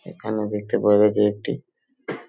এখানে দেখতে পাওয়া যাছে একটি --